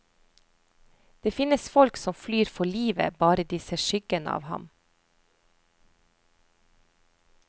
Det finnes folk som flyr for livet bare de ser skyggen av ham.